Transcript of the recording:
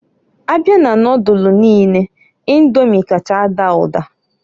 Abịa na nodulu niine Indomi kacha ada ụda.